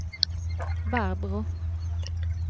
Barbro